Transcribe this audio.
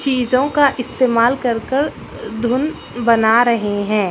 चीजों का इस्तमाल कर-कर धुन बना रहे हैं।